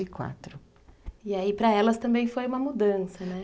e E aí pra elas também foi uma mudança, né?